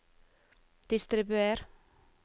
distribuer